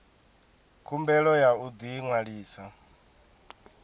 khumbelo ya u ḓi ṅwalisa